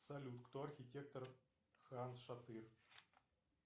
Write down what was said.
салют кто архитектор хан шатыр